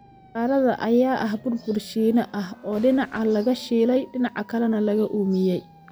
Istiikarada ayaa ah bur bur Shiine ah oo dhinac laga shiilay oo dhinaca kale laga uumiyay.